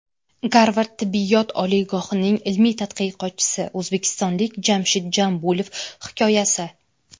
Garvard tibbiyot oliygohining ilmiy tadqiqotchisi o‘zbekistonlik Jamshid Jambulov hikoyasi.